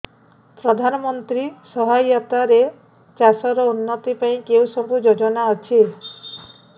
ପ୍ରଧାନମନ୍ତ୍ରୀ ସହାୟତା ରେ ଚାଷ ର ଉନ୍ନତି ପାଇଁ କେଉଁ ସବୁ ଯୋଜନା ଅଛି